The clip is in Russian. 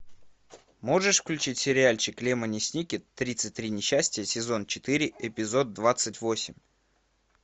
можешь включить сериальчик лемони сникет тридцать три несчастья сезон четыре эпизод двадцать восемь